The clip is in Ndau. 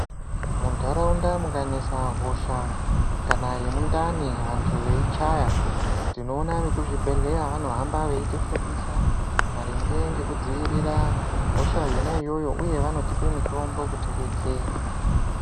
Muntaraunda munganesa hosha, kana yemundani vantu veichaya, tinoona vemuzvibhedhleya vanohamba veitifundisa, maringe ngekudzivirira hosha yona iyoyo, uye vanotipe mitombo kutidetsera.